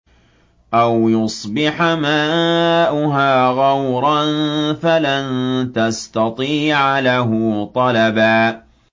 أَوْ يُصْبِحَ مَاؤُهَا غَوْرًا فَلَن تَسْتَطِيعَ لَهُ طَلَبًا